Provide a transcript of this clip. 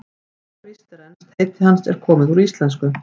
Næsta víst er að enskt heiti hans er komið úr íslensku.